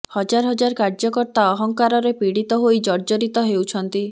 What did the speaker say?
ହଜାର ହଜାର କାର୍ଯ୍ୟକର୍ତ୍ତା ଅହଙ୍କାରରେ ପୀଡ଼ିତ ହୋଇ ଜର୍ଜରିତ ହେଉଛନ୍ତି